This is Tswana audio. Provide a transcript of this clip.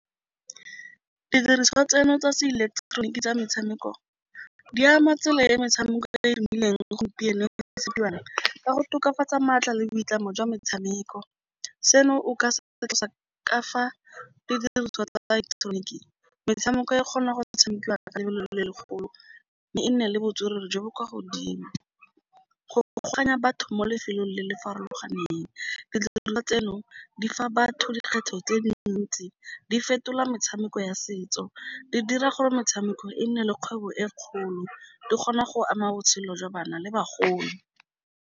Didiriswa tseno tsa se ileketeroniki tsa metshameko di ama tsela e metshameko gompieno ka go tokafatsa maatla le boitlamo jwa metshameko, seno o ka se ka fa didiriswa tsa ileketeroniki, metshameko e kgonang go tshamekiwa ka lebelo le le legolo, mme e nne le botswerere jo bo kwa godimo. Go batho mo lefelong le le farologaneng, tseno di fa batho dikgetho tse dintsi di fetola metshameko ya setso, di dira gore metshameko e nne le kgwebo e kgolo, di kgona go ama botshelo jwa bana le bagolo.